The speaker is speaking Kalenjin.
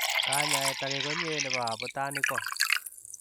Kanyaaet agee konyee nepoo abutanik koo